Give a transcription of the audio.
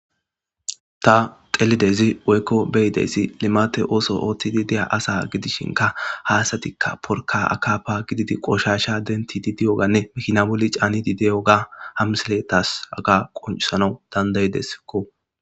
ta xelidezi woykko beyidesi limate ooso ooththidi deya asa gidishinka haasatikka porka akapa gididi qoshasha dentidi de7oganne mikina boli caanidi de7oga hamseletas aga qoncusanau dandayideskko